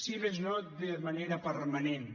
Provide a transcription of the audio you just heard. si més no de manera permanent